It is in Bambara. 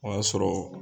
O y'a sɔrɔ